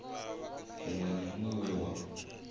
muṅwe na muṅwe we wa